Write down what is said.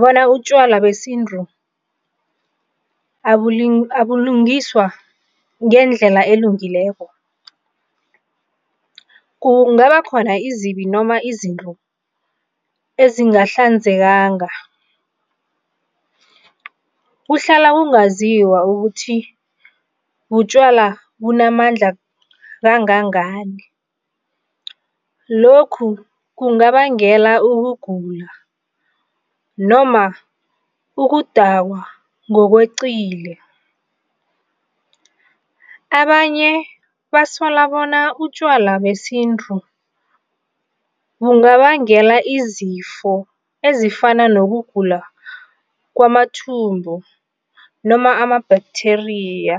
bona utjwala besintu abulungiswa ngendlela elungileko, kungaba khona iinzibi noma izinto ezingehlanzekanga. Kuhlala kungazizwa ukuthi butjwala bunamandla kangangani, lokhu kungabangela ukugula noma ukudakwa ngokweqile. Abanye basola bona utjwala besintu kungabangela izifo ezifana nokugula kwamathumbu noma ama-bacteria.